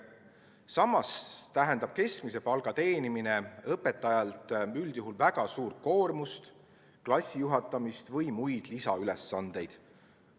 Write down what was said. Samas tähendab keskmise palga teenimine õpetajale üldjuhul väga suurt koormust, klassijuhatamist või muid lisaülesandeid.